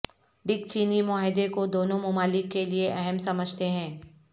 ڈک چینی معاہدے کو دونوں ممالک کے لیئے اہم سمجھتے ہیں